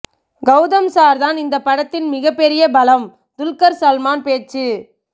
Gautham sir தான் இந்தப்படத்தின் மிகப்பெரிய பலம் துல்கர் சல்மான் பேச்சு